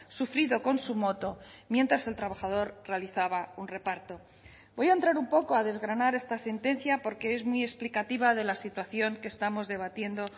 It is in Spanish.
sufrido con su moto mientras el trabajador realizaba un reparto voy a entrar un poco a desgranar esta sentencia porque es muy explicativa de la situación que estamos debatiendo